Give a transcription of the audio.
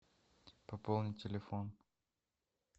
пополни телефон